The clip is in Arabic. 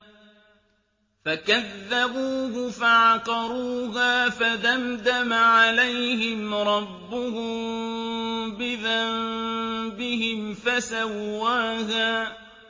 فَكَذَّبُوهُ فَعَقَرُوهَا فَدَمْدَمَ عَلَيْهِمْ رَبُّهُم بِذَنبِهِمْ فَسَوَّاهَا